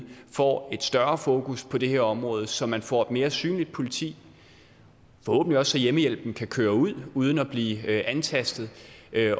får et større fokus på det her område så man får et mere synligt politi forhåbentlig også så hjemmehjælpen kan køre ud uden at blive antastet